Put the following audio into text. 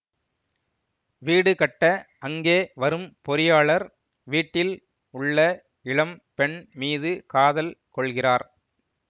வீடு கட்ட அங்கே வரும் பொறியாளர் வீட்டில் உள்ள இளம் பெண் மீது காதல் கொள்கிறார்